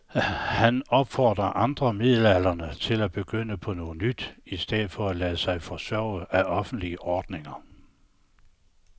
Han opfordrer andre midaldrende til at begynde på noget nyt i stedet for at lade sig forsørge af offentlige ordninger.